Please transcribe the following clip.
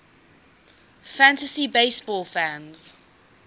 fantasy baseball fans